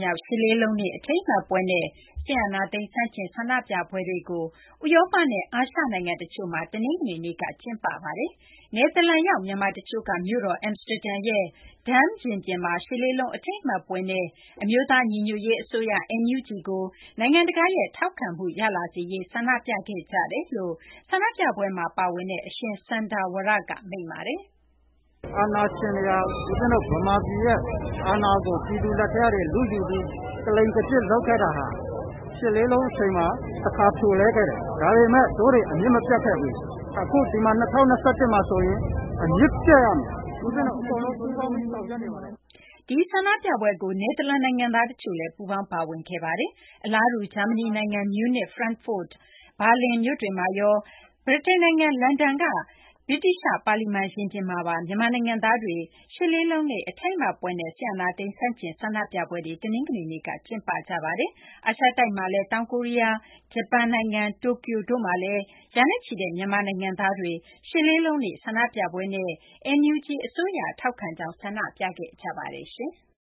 မြောက် ရှစ်လေးလုံးနေ့ အထိမ်းအမှတ်ပွဲနဲ့ စစ်အာဏာသိမ်း ဆန့်ကျင် ဆန္ဒပြပွဲတွေကို ဥရောပနဲ့ အာရှနိုင်ငံတချို့မှာ တနင်္ဂနွေနေ့က ကျင်းပ ခဲ့ကြပါတယ်။ နယ်သာလန်နိုင်ငံရောက် တိုင်းရင်းသားနဲ့ မြန်မာနိုင်ငံသားတွေက အမ်စတာဒမ်မြို့ 'ဒမ်း-စကွဲး-ရင်ပြင်'မှာ ရှစ်လေးလုံး အထိမ်းအမှတ်ပွဲနဲ့ NUG အစိုးရကို နိုင်ငံတကာက ပိုမို ထောက်ခံလာစေရေး ဆန္ဒပြခဲ့ကြတယ်လို့ ဒီဆန္ဒပြပွဲမှာပါဝင်တဲ့ သံဃာတော် အရှင် စန္ဒာဝရ-က မိန့်ပါတယ်။ " အာဏာရှင်တွေဟာ ဦးဇင်းတို့ ဗမာပြည်ရဲ့အာဏာကို ပြည်သူလက်ထဲကနေ လုယူပြီး ၊ ကလိမ်ကကျစ် လုပ်ခဲ့တာကို ၈၈၈၈ အချိန်တုန်းက တခါ ဖြိုလှဲခဲ့ပေမယ့် အမြစ် မပြတ်ခဲ့ဘူး။ အခု ၂၀၂၁ မှာဆိုရင်တော့ အမြစ်ပြတ်ရမယ်။ ဦးဇင်းတို့အကုန်လုံး ပူးပေါင်း ဆောင်ရွက်နေပါတယ်။ " ဒီဆန္ဒပြပွဲကို ဌာနေ နယ်သာလန်နိုင်ငံသား တချို့လည်း ပူးပေါင်းပါဝင်ခဲ့ကြပါတယ်။ အလားတူ ဂျာမနီနိုင်ငံ မြူးနစ် ၊ ဖရန့်ဖို့ ၊ ဘာလင်မြို့တွေမှာရော ၊ ဗြိတိန်နိုင်ငံ လန်ဒန်မြို့က ဗြိတိသျှ ပါလီမန် ရင်ပြင်မှာပါ မြန်မာနိုင်ငံသားတွေက ရှစ်လေးလုံးနေ့ အထိမ်းအမှတ်ပွဲနဲ့ စစ်အာဏာသိမ်း ဆန့်ကျင် ဆန္ဒပြပွဲတွေ - တနင်္ဂနွေနေ့က ကျင်းပခဲ့ကြပါတယ်။ အာရှတိုက်ထဲမှာလည်း တောင်ကိုရီးယားနိုင်ငံအပြင် ၊ ဂျပန်နိုင်ငံ တိုကျိုမြို့လည်း ရာနဲ့ချီတဲ့ မြန်မာနိုင်ငံသားတွေဟာ မြန်မာသံရုံးရှေ့ဖြတ်လျှောက်ပြီး ရှစ်လေးလုံးနေ့ဆန္ဒပြပွဲနဲ့ NUG အစိုးရကို ထောက်ခံကြောင်း ဆန္ဒထုတ်ဖေါ် ခဲ့ကြပါတယ်။